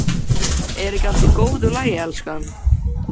Er ekki allt í góðu lagi, elskan?